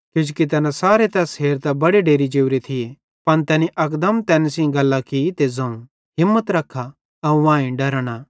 किजोकि तैना सारे तैस हेरतां बड़े डेरि जोरे थिये पन तैनी अकदम तैन सेइं गल्लां की ते ज़ोवं हिम्मत रखा अवं आईं डरा न